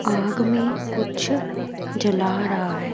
आग में कुछ जला रहा हैं।